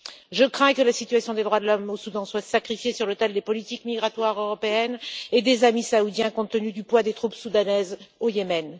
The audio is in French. Je crains que la situation des droits de l'homme au Soudan ne soit sacrifiée sur l'autel des politiques migratoires européennes et des amis saoudiens, compte tenu du poids des troupes soudanaises au Yémen.